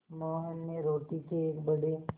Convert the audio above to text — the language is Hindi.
मोहन ने रोटी के एक बड़े